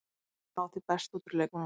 Hann mun ná því besta út úr leikmönnunum.